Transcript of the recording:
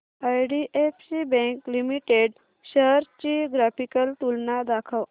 IDFC bank limited shares ची graphical तुलना दाखव